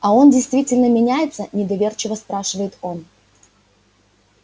а он действительно меняется недоверчиво спрашивает он